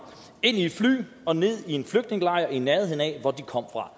ind i et fly og ned i en flygtningelejr i nærheden af hvor de kom fra